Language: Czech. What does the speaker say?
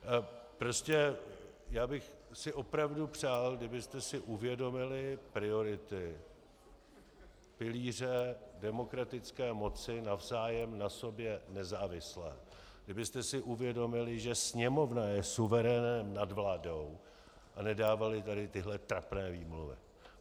Prostě já bych si opravdu přál, kdybyste si uvědomili priority pilíře demokratické moci navzájem na sobě nezávisle, kdybyste si uvědomili, že Sněmovna je suverénem nad vládou, a nedávali tady tyhle trapné výmluvy.